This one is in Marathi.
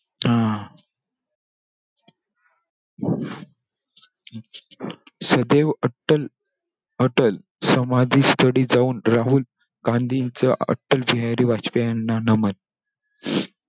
हा! सदैव अट्टल अटल समाधीस्थळी जाऊन, राहुल गांधींचं अटल बिहारी वाजपेयी यांना नमन.